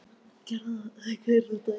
Við verðum að fara vinna núna.